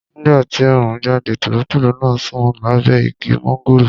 Nígbà tí oòrùn jáde, tòlótòló náà sùn lábẹ́ igi mọ́ńgòrò